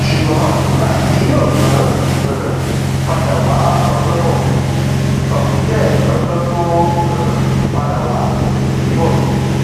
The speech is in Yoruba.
ṣùgbọn nígbà tí yóò tún um padà wá ọjọbọ tọsídẹẹ lọjọ tó um padà wá yìí bọ sí